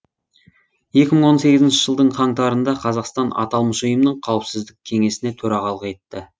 екі мың он сегізінші жылдың қаңтарында қазақстан аталмыш ұйымның қауіпсіздік кеңесіне төрағалық етті